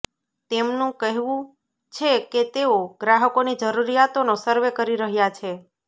તેમનું કહેવું છે કે તેઓ ગ્રાહકોની જરૂરિયાતોનો સર્વે કરી રહ્યા છે